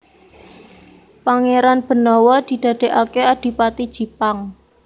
Pangéran Benawa didadèkaké Adipati Jipang